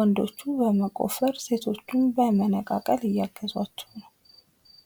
ወንዶቹ በመቆፈር ሴቶቹ በመነቃቀል እያገዟቸው ነው ።